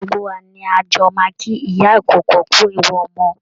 Gbogbo wa ni a jọ máa kí ìyá ìkókó kú ewu ọmọ